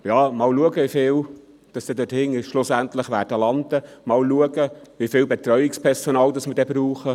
Schauen wir einmal, wie viele schlussendlich dort hinten landen werden; schauen wir einmal, wie viel Betreuungspersonal wir brauchen;